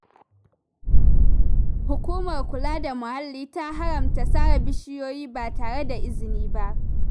Hukumar Kula da Muhalli ta haramta sare bishiyoyi ba tare da izini ba.